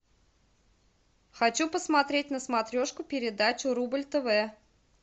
хочу посмотреть на смотрешке передачу рубль тв